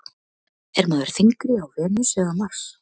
Er maður þyngri á Venus eða Mars?